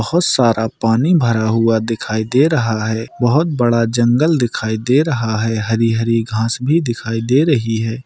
बहुत सारा पानी भरा हुआ दिखाई दे रहा है बहुत बड़ा जंगल दिखाई दे रहा है हरी-हरी घास भी दिखाई दे रही है।